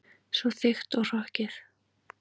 Svo þykkt og hrokkið.